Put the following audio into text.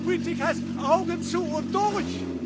Die Politik heißt Augen zu und durch.